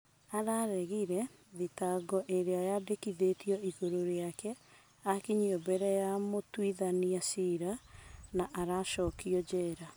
Araregire thitango ĩrĩa yandĩkitwo ĩguru rĩake akinyio mbere ya mũtũithania cira na aracokio njera.